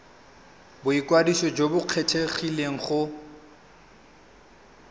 boikwadiso jo bo kgethegileng go